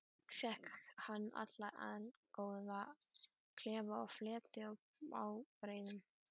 Fékk hann þar allgóðan klefa með fleti og ábreiðum.